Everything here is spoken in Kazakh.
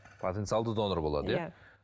потенциалды донор болады иә